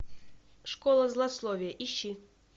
школа злословия ищи